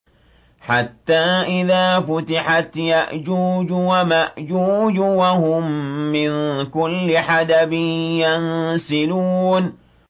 حَتَّىٰ إِذَا فُتِحَتْ يَأْجُوجُ وَمَأْجُوجُ وَهُم مِّن كُلِّ حَدَبٍ يَنسِلُونَ